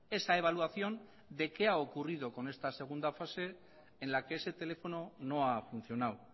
esa evaluación de qué ha ocurrido con esta segunda fase en la que ese teléfono no ha funcionado